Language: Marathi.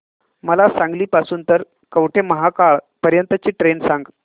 मला सांगली पासून तर कवठेमहांकाळ पर्यंत ची ट्रेन सांगा